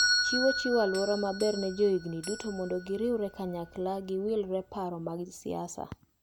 Chiro chiwo aluora maber ne johigni duto mondo giriwre kanyakla kagiwilre paro mag siasa.